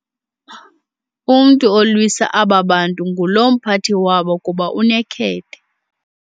Umntu olwisa aba bantu ngulo mphathi wabo kuba unekhethe.